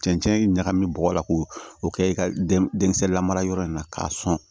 Cɛncɛn ɲagamin bɔgɔ la k'o o kɛ i ka denkisɛ lamarayɔrɔ in na k'a sɔn